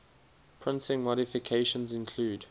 printing modifications include